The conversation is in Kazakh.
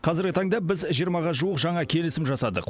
қазіргі таңда біз жиырмаға жуық жаңа келісім жасадық